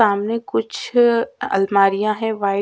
सामने कुछ अल्ल अलमारिया है वाईट --